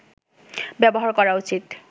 ব্যবহার করা উচিৎ